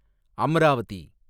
Amravati